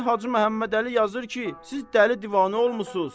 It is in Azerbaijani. İndi Hacı Məhəmməd Əli yazır ki, siz dəli divanə olmusunuz.